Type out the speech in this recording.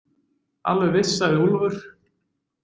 Alveg viss, sagði Úlfur.